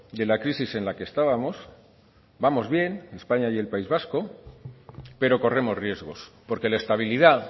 de la crisis en la que estábamos vamos bien españa y el país vasco pero corremos riesgos porque la estabilidad